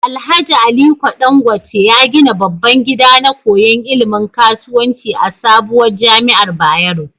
Alhaji aliko Dan gwate ya gida babban gida na koyan ilimin kasuwanci a sabuwar jamiar bayero